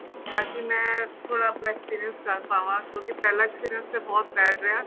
ਤਾਂ ਕੀ ਮੈਂ ਥੋੜਾ ਆਪਣਾ experience ਕਰ ਪਾਵਾ ਕਿਉਂਕਿ ਪਹਿਲਾ experience ਤਾਂ ਬਹੁਤ bad ਰਿਹਾ